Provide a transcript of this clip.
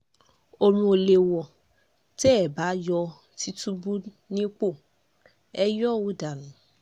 ọ̀run ò lè wọ̀ tẹ́ ẹ bá yó tìtùbù nípò ẹ̀ yọ ọ́ dànù